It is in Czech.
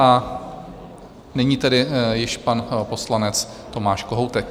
A nyní tedy již pan poslanec Tomáš Kohoutek.